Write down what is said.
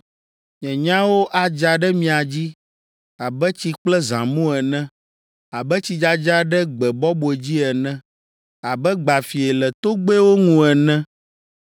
Nye nyawo adza ɖe mia dzi abe tsi kple zãmu ene, abe tsidzadza ɖe gbe bɔbɔe dzi ene, abe gbafie le togbɛwo ŋu ene.